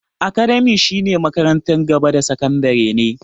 Academia shi na en makarantar gaba da sakandare ne